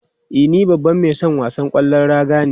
E, ni babban mai son wasan kwallon raga ne.